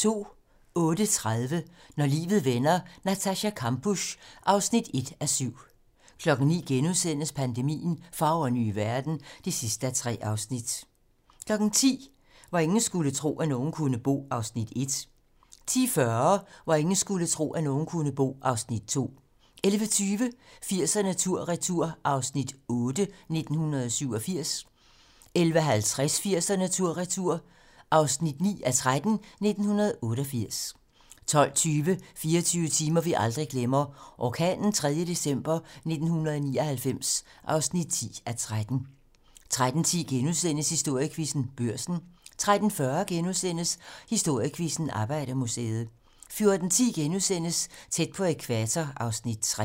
08:30: Når livet vender: Natascha Kampusch (1:7) 09:00: Pandemien - Fagre nye verden (3:3)* 10:00: Hvor ingen skulle tro, at nogen kunne bo (Afs. 1) 10:40: Hvor ingen skulle tro, at nogen kunne bo (Afs. 2) 11:20: 80'erne tur-retur: 1987 (8:13) 11:50: 80'erne tur-retur: 1988 (9:13) 12:20: 24 timer, vi aldrig glemmer: Orkanen 3. december 1999 (10:13) 13:10: Historiequizzen: Børsen * 13:40: Historiequizzen: Arbejdermuseet * 14:10: Tæt på ækvator (Afs. 3)*